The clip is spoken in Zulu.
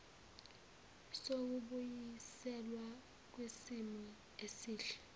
sokubuyiselwa kwisimo esihle